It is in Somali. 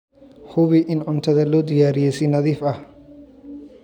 Hubi in cuntada loo diyaariyey si nadiif ah.